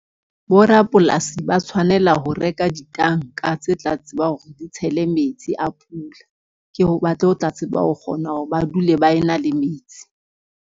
Bo rapolasi ba tshwanela ho reka ditanka tse tla tsebang hore di tshele metsi a pula. Ke ho batle ho tla tseba ho kgona hore ba dule ba e na le metsi.